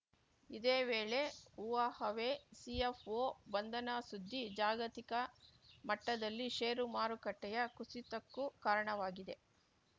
ಇದೇ ವೇಳೆ Huawei CFO ಬಂಧನ ಸುದ್ದಿ ಜಾಗತಿಕ ಮಟ್ಟದಲ್ಲಿ ಷೇರು ಮಾರುಕಟ್ಟೆಯ ಕುಸಿತಕ್ಕೂ ಕಾರಣವಾಗಿದೆ